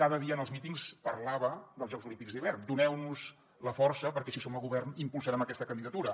cada dia en els mítings parlava dels jocs olímpics d’hivern doneu nos la força perquè si som a govern impulsarem aquesta candidatura